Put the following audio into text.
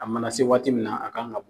A mana se waati min na, a kan ka bɔ